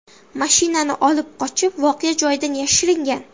mashinani olib qochib, voqea joyidan yashiringan.